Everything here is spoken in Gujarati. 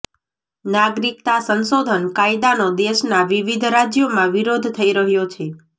નાગરિકતા સંશોધન કાયદાનો દેશના વિવિધ રાજ્યોમાં વિરોધ થઇ રહ્યો છે